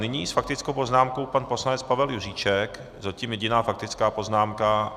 Nyní s faktickou poznámkou pan poslanec Pavel Juříček, zatím jediná faktická poznámka.